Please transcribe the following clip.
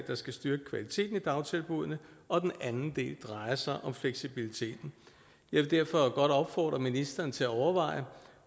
der skal styrke kvaliteten i dagtilbuddene og den anden del drejer sig om fleksibiliteten jeg vil derfor godt opfordre ministeren til at overveje